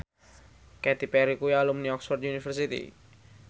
Katy Perry kuwi alumni Oxford university